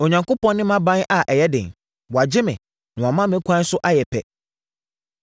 Onyankopɔn ne mʼaban a ɛyɛ den; wagye me, na wama me kwan so ayɛ pɛ.